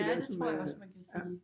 Ja det tror jeg også man kan sige